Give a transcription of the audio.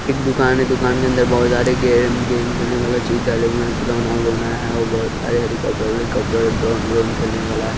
एक दुकान है दुकान के अंदर बहुत सारे गेम गेम खेलने वाला चीज डाले हुए हैं खिलाना वलोना है बहुत सारे हेलीकोपटेर वेलीकोपटेर ड्रोन व्रोन खेलने वाला है।